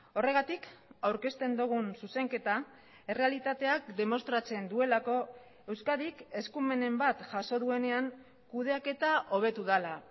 horregatik aurkezten dugun zuzenketa errealitateak demostratzen duelako euskadik eskumenen bat jaso duenean kudeaketa hobetu dela